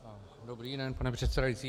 Dobrý den, pane předsedající.